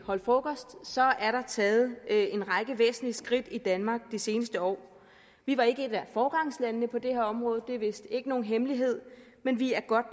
holdt frokost er der taget en række væsentlige skridt i danmark de seneste år vi var ikke et af foregangslandene på det her område det er vist ikke nogen hemmelighed men vi er godt